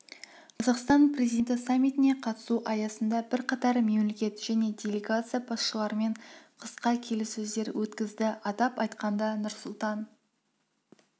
қазақстан президенті саммитіне қатысу аясында бірқатар мемлекет және делегация басшыларымен қысқа келіссөздер өткізді атап айтқанда нұрсұлтан